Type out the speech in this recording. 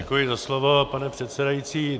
Děkuji za slovo, pane předsedající.